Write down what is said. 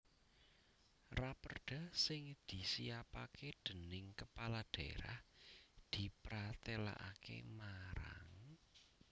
Raperda sing disiapaké déning Kepala Dhaérah dipratélakaké marang